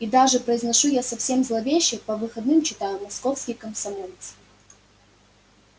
и даже произношу я совсем зловеще по выходным читаю московский комсомолец